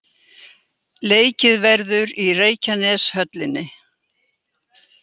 Leikið verður í Reykjaneshöllinni.